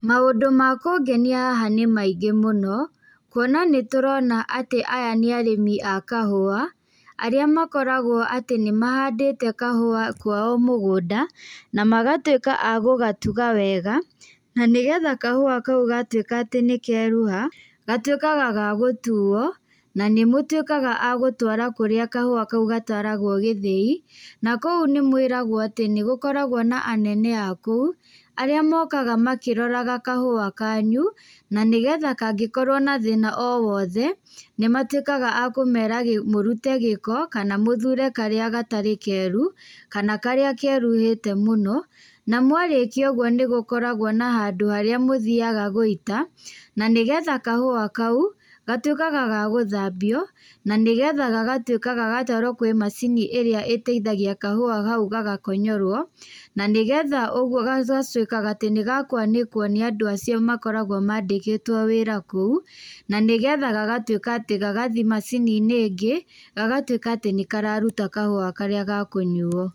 Maũndũ ma kũngenia haha nĩ maingĩ mũno, kuona nĩtũrona atĩ aya nĩ arĩmi a kahũa, arĩa makoragwo atĩ nĩmahandĩte kahũa kwao mũgũnda, na magatwĩka agũgatuga wega, na nĩgetha kahũa kau gatwĩkaa atĩ nĩkerua, gatwĩkaga ga gũtuo, na nĩmatwĩkaga a gũtwara kũrĩa kahĩa kau gatwaragwo gĩthĩi, na kũu nĩmwĩragwo atĩ nĩgũkoragwo na anene a kũu, arĩa mokaga makĩroraga kahũa kanyu, na nĩgetha kangĩkorwo na thĩna o wothe, nĩmatwĩkaga a kũmera me mũrute gĩko, kana mũthure karĩa gatarĩ keru, kana karĩa keruhĩte mũno, na mwarĩkia ũguo nĩgũkoragwo na handũ harĩa mũthiaga gũita, na nĩgetha kahũa kau, gatwĩkaga gagũthambio, na nĩgetha gagatwĩka gagatwarwo kwĩ macini ĩrĩa ĩteithagia kahũa hau gagakonyorwo, na nĩgetha ũguo ga gatwĩkaga atĩ nĩga kwanĩkwo nĩ andũ acio makoragwo mandĩkĩtwo wĩra kũu, na nĩgetha gagtwĩka atĩ gagathi macini-inĩ ĩngĩ gagatwĩka atĩ nĩkararuta kahũa karĩa ga kũnyuo.